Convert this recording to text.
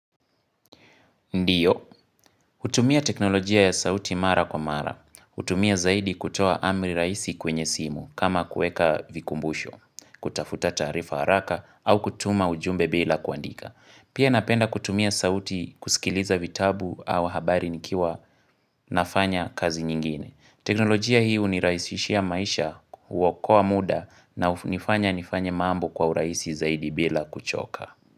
Ndiyo. Hutumia teknolojia ya sauti mara kwa mara. Hutumia zaidi kutoa amri rahisi kwenye simu kama kueka vikumbusho, kutafuta taarifa haraka au kutuma ujumbe bila kuandika. Pia napenda kutumia sauti kusikiliza vitabu au habari nikiwa nafanya kazi nyingine. Teknolojia hii hunirahisishia maisha huokoa muda hunifanya nifanye mambo kwa urahisi zaidi bila kuchoka.